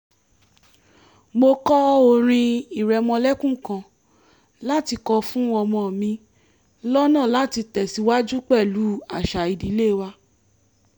mo kọ́ orin ìrẹmọlẹ́kún kan láti kọ fún ọmọ mi lọ́nà láti tẹ̀síwájú pẹ̀lú àṣà ìdílé wa